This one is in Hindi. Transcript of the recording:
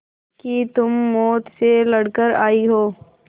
कि तुम मौत से लड़कर आयी हो